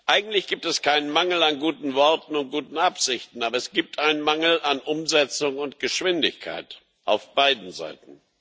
Eigentlich gibt es keinen Mangel an guten Worten und guten Absichten, aber es gibt einen Mangel an Umsetzung und Geschwindigkeit auf beiden Seiten.